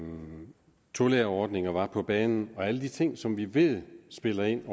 tolærerordningen var på banen og at alle de ting som vi ved spiller ind